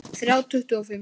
Þrjá tuttugu og fimm